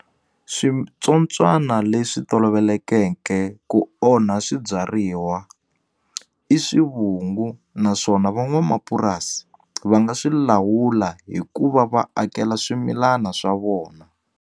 Swintsotswana leswi tolovelekeke ku onha swibyariwa i swivungu naswona van'wamapurasi va nga swi lawula hikuva va akela swimilana swa vona.